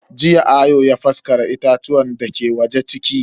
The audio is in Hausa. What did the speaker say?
Jiya Ayo ya faskara itatuwan dake waje ciki.